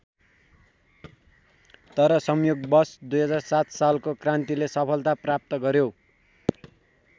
तर संयोगवश २००७ सालको क्रान्तिले सफलता प्राप्त गर्‍यो।